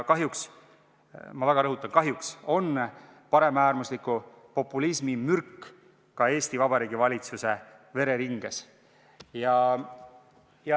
Kahjuks – ma väga rõhutan: kahjuks – on paremäärmusliku populismi mürk ka Eesti Vabariigi valitsuse vereringes.